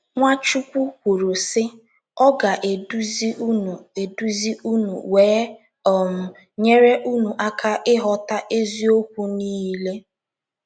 Nwachukwu kwuru, sị: “ Ọ ga - eduzi unu eduzi unu wee um nyere unu aka ịghọta eziokwu niile. ”